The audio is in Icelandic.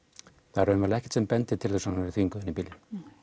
það er raunverulega ekkert sem bendir til þess að hún hafi verið þvinguð inn í bílinn